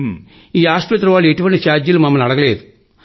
ఈ ఆస్పత్రి వాళ్లు ఎటువంటి ఛార్జీలు మమ్మల్ని అడగలేదు